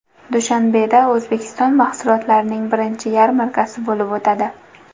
Dushanbeda O‘zbekiston mahsulotlarining birinchi yarmarkasi bo‘lib o‘tadi.